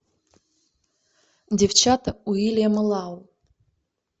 девчата уильяма лау